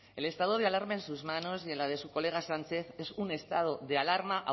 el estado de alarma en sus manos y en las de su colega sánchez es un estado de alarma